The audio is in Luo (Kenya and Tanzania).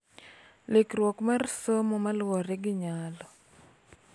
Lokiruok mar somo ma luwore gi nyalo,